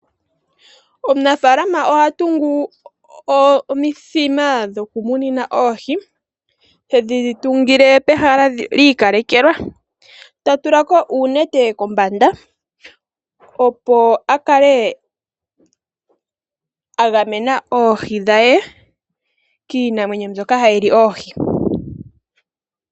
Omunafalama ohatungu omithima dhoku munina oohi, tedhi tungile pehala liikalekelwa ta tulako uunete kombanda, opo akale agamena oohi dhaye kiinamwenyo mbyoka hayili oohi.